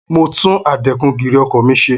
Mo tún adẹ́kun-gìrì ọkọ̀ mi ṣe.